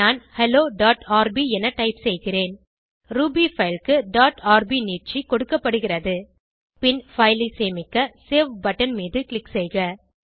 நான் helloஆர்பி என டைப் செய்கிறேன் ரூபி பைல் க்கு டாட் ஆர்பி நீட்சி கொடுக்கப்படுகிறது பின் பைல் ஐ சேமிக்க சேவ் பட்டன் மீது க்ளிக் செய்க